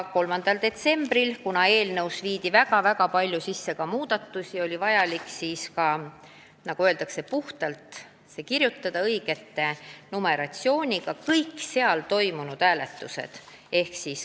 Ja kuna eelnõusse tehti väga palju muudatusi, siis oli vaja seda nn puhtandit hääletada, võttes aluseks õige numeratsiooni.